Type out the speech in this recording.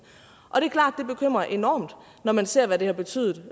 og bekymrer enormt når man ser hvad det har betydet